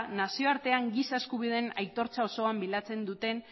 nazioartean giza eskubideen aitortza osoa bilatzen duten